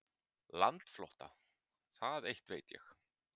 Landflótta, það eitt veit ég.